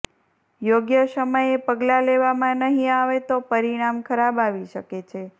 યોગ્ય સમયે પગલાં લેવામાં નહીં આવે તો પરિણામ ખરાબ આવી શકે છે